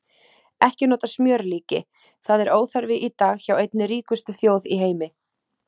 Ekki nota smjörlíki, það er óþarfi í dag hjá einni ríkustu þjóð í heimi!